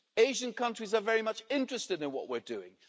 Asian countries are very much interested in what we are doing.